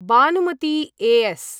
Banumati A S.